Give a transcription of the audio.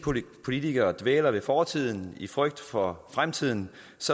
politikere dvæler ved fortiden i frygt for fremtiden